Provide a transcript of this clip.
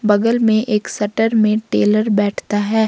बगल में एक शटर में टेलर बैठता है।